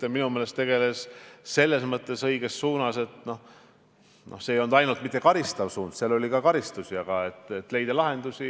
Ja minu meelest tegeles õiges suunas, püüdes leida lahendusi – neil ei olnud ainult karistamise eesmärk, kuigi oli ka karistusi.